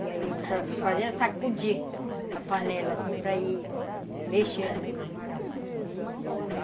E aí a gente fazia sacudir a panela, assim, para ir mexendo o camarão e